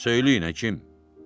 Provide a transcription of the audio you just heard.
Söyləyin, həkim.